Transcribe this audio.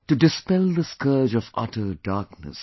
To dispel the scourge of utter darkness